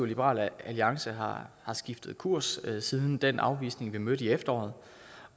liberal alliance har skiftet kurs siden den afvisning vi mødte i efteråret